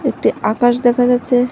একটি আকাশ দেখা যাচ্ছে।